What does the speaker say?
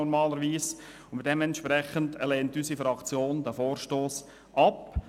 Daher lehnt unsere Fraktion den Vorstoss ab.